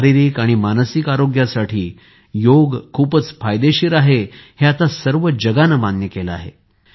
शारीरिक आणि मानसिक आरोग्यासाठी योग खूपच फायदेशीर आहे हे आता सर्व जगाने मान्य केले आहे